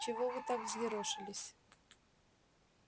чего вы так взъерошились